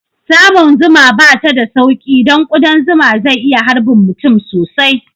Samun zuma bata da sauƙi don ƙudan zuma zai iya harbin mutum sosai